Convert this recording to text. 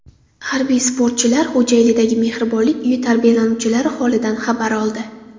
Harbiy sportchilar Xo‘jaylidagi Mehribonlik uyi tarbiyalanuvchilari holidan xabar oldi.